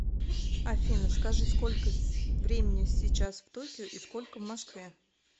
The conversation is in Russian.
афина скажи сколько времени сейчас в токио и сколько в москве